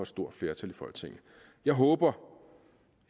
stort flertal i folketinget jeg håber